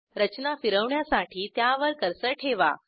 रचना फिरवण्यासाठी त्यावर कर्सर ठेवा